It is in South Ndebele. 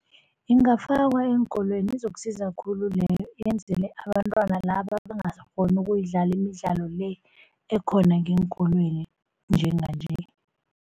Ingafakwa eenkolweni izokusiza khulu leyo yenzelwe abantwana laba abangasakghoni ukuyidlala imidlalo le ekhona ngeenkolweni njenganje.